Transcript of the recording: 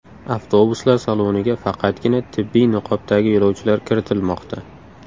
Avtobuslar saloniga faqatgina tibbiy niqobdagi yo‘lovchilar kiritilmoqda.